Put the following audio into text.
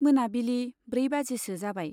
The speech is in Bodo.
मोनाबिलि ब्रै बाजिसो जाबाय।